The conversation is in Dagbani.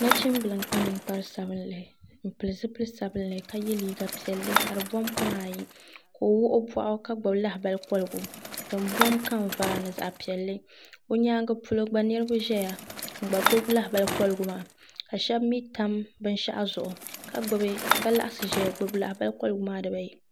nachimbila n-kpa niŋkpar'sabinlli m'pili zupil'sabinlli ka ye liiga piɛlli ka di bɔm koma ayi ka o wuɣi o bɔɣu ka gbubi lahabali kɔligu din m-bɔm kamvaa ni zaɣ'piɛlli o nyaanga polo gba niriba ʒeya n-gba gbubi lahabali kɔligu maa ka shɛba mii tam binshɛɣu zuɣu ka laɣisi ʒeya n-gbubi lahabali kɔligu maa dibaa ayi